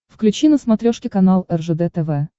включи на смотрешке канал ржд тв